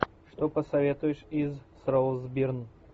что посоветуешь из с роуз бирн